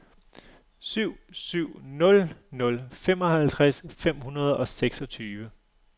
syv syv nul nul femoghalvtreds fem hundrede og seksogtyve